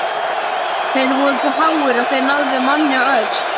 Þeir voru svo háir að þeir náðu manni á öxl.